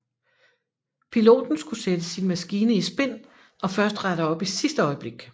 Piloten skulle sætte sin maskine i spin og først rette op i sidste øjeblik